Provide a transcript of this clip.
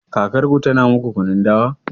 Kakarku tana muku kunun dawa?